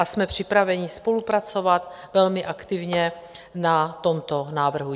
A jsme připraveni spolupracovat velmi aktivně na tomto návrhu.